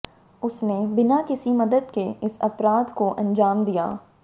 उसने बिना किसी मदद के इस अपराध को अंजाम दिया